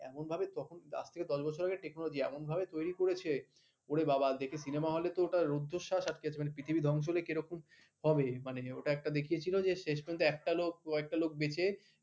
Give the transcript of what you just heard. এমন ভাবে পাঁচ থেকে দশ বছর আগে technology এমন ভাবে তৈরী করেছে ওরে বাবা দেখে সিনেমা হলে তো ওটা রুদ্ধশ্বাস আটকে আছে পৃথিবী ধ্বংস হলে কে রকম হবে মানে ওটা একটা দেখিয়েছিল যে শেষ পর্যন্ত একটা লোক একটা লোক বেঁচে